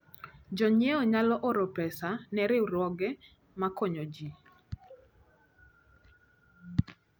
Jonyiewo nyalo oro pesa ne riwruoge makonyo ji.